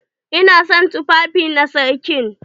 Ina son tufafi na sarkin.